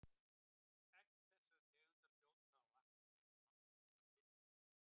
Egg þessarar tegundar fljóta á vatni eins og nokkurs konar filma.